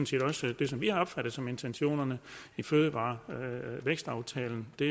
set også det som vi har opfattet som intentionerne i fødevare og vækstaftalen det